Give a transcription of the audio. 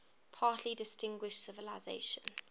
particularly distinguished civilization